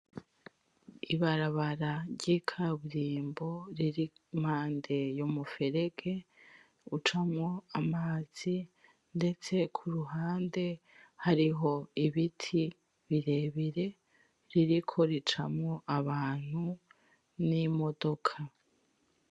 Ibarabara ry'ikaburimbo riri impande y'umuferege ucamwo amazi ndetse kuruhande hariho ibiti birebire biriko bicamwo abantu n'imodoka.